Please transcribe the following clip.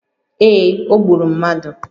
Ee, o gburu mmadụ